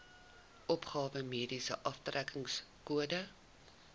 opgawe mediese aftrekkingskode